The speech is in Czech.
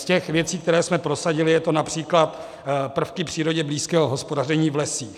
Z těch věcí, které jsme prosadili, jsou to například prvky přírodě blízkého hospodaření v lesích.